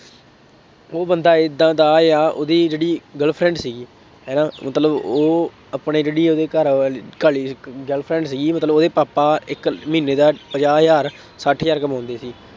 ਉਹ ਬੰਦਾ ਏਦਾਂ ਦਾ ਉਹਦੀ ਜਿਹੜੀ girl-friend ਸੀ, ਹੈ ਨਾ, ਮਤਲਬ ਉਹ ਆਪਣੇ ਜਿਹੜੀ ਉਹਦੀ ਘਰਵਾਲੀ girl-friend ਸੀਗੀ ਮਤਲਬ ਉਹਦੇ ਪਾਪਾ ਇੱਕ ਮਹੀਨੇ ਦਾ ਪੰਜਾਹ ਹਜ਼ਾਰ, ਸੱਠ ਹਜ਼ਾਰ ਕਮਾਉਂਦੇ ਸੀ।